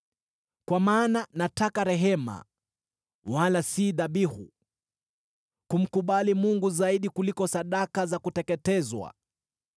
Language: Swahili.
Kwa maana nataka rehema, wala si dhabihu, kumkubali Mungu zaidi kuliko sadaka za kuteketezwa.